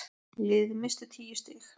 Liðið missti tíu stig.